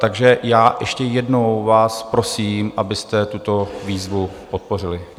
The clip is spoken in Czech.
Takže já ještě jednou vás prosím, abyste tuto výzvu podpořili.